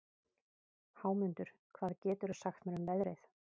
Hámundur, hvað geturðu sagt mér um veðrið?